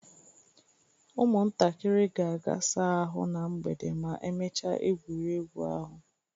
Ụmụntakịrị ga-aga saa ahụ na mgbede ma emechaa egwuregwu ahụ